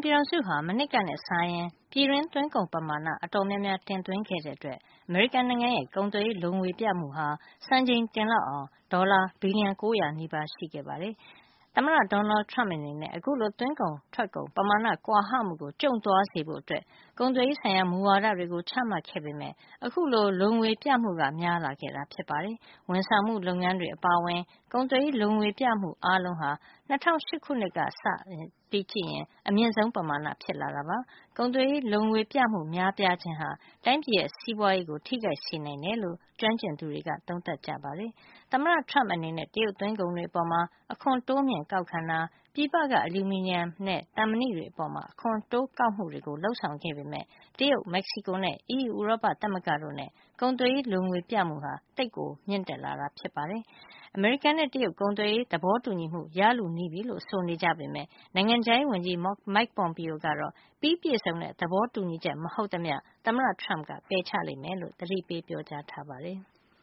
ပြည်ထောင်စုဟာ မနှစ်ကနဲ့ စာရင် ပြည်တွင်း သွင်းကုန်ပမာဏ အတော်များများ တင်သွင်းခဲ့တဲ့အတွက် အမေရိကန်နိုင်ငံရဲ့ ကုန်သွယ်ရေး လိုငွေ ပြမှုဟာ စံချိန်တင်လောက်အောင် ဒေါ်လာဘီလျံ ၉၀၀ နီးပါး ရှိခဲ့ပါတယ်။ သမ္မတ Donald Trump အနေနဲ့ အခုလို သွင်းကုန် ထွက်ကုန် ပမာဏ ကွာဟမှုကို ကျုံ့သွားစေဖို့ ကုန်သွယ်ရေး ဆိုင်ရာ မူဝါဒတွေကို ချမှတ်ခဲ့ပေမယ့် အခုလို လိုငွေပြမှု များလာခဲ့တာ ဖြစ်ပါတယ်။ ဝန်ဆောင်မှုလုပ်ငန်းတွေ အပါအဝင် ကုန်သွယ်ရေး လိုငွေပြမှု အားလုံးဟာ ၂၀၀၈ ခုနှစ်ကစပြီး အမြင့်ဆုံး ပမာဏ ဖြစ်လာခဲ့တာပါ။ ကုန်သွယ်ရေး လိုငွေပြမှု များပြားခြင်းဟာ တိုင်းပြည်ရဲ့ စီးပွါးရေးကို ထိခိုက်စေနိုင်တယ်လို့ ကျွမ်းကျင်သူတွေက ပြောပါတယ်။ သမ္မတ Trump အနေနဲ့ တရုတ်သွင်းကုန်တွေ အပေါ် အခွန်တိုးမြှုှင့်ကောက်ခံတာ၊ ပြည်ပက အလျူမီနီယံနဲ့ သံမဏိတွေ အပေါ် အခွန်တိုးကောက်မှုတွေ လုပ်ဆောင်ခဲ့ပေမယ့် တရုတ်၊ မက္ကဆီကိုနဲ့ EU ဥရောပသမဂ္ဂတို့နဲ့ ကုန်သွယ်ရေး လိုငွေပြမှု ဟာ သိပ်ကို မြင့်တက်လာတာ ဖြစ်ပါတယ်။ အမေရိကန် နဲ့ တရုတ် ကုန်သွယ်ရေးသဘောတူညီမှု ရလုနီးပြီလို့ ဆိုနေကြပေမယ့် နိုင်ငံခြားရေးဝန်ကြီး Mike Pompeo ကတော့ ပြီးပြည့်စုံတဲ့ သဘောတူညီချက် မဟုတ်သမျှ သမ္မတ Trump ပယ်ချလိမ့်မယ်လို့ သတိပေး ပြောကြားထားပါတယ်။